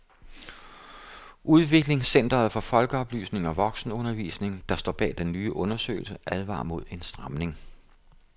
Udviklingscenteret for folkeoplysning og voksenundervisning, der står bag den nye undersøgelse, advarer mod en stramning.